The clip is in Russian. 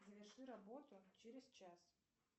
заверши работу через час